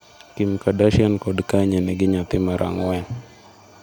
Kim Kardarshian kod Kanye nigi nyathi mar ang'wen